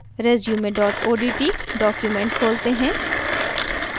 resume odt document खोलते हैं